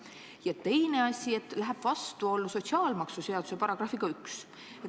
Ja teine asi on see, et minnakse vastuollu sotsiaalmaksuseaduse §-ga 1.